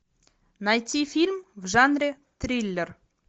найти фильм в жанре триллер